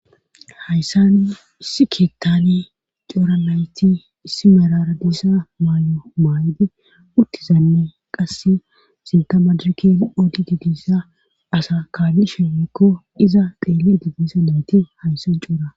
Hayssan issi keettani coura nayti issi meraradiisa maay'o maaydi uttizanne qasse sintamadrken oodi didisa asa kaali sheemekko iza deeli didisa nayti hayssan cuura.